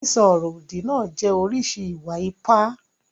Sísọ ọ̀rọ̀-òdì náà jẹ́ oríṣi ìwà-ipá.